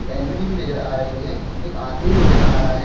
L E D भी नजर आ रही है एक आदमी भी नजर आ रहा है।